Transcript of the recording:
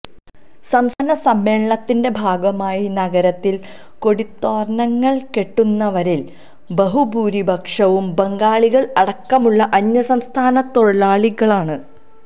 സംസ്ഥാന സമ്മേളനത്തിന്റെ ഭാഗമായി നഗരത്തില് കൊടിതോരണങ്ങള് കെട്ടുന്നവരില് ബഹുഭൂരിപക്ഷവും ബംഗാളികള് അടക്കമുള്ള അന്യസംസ്ഥാന തൊഴിലാളികളാണ്